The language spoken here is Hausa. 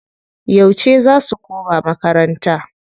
Yauce za su koma makarnata?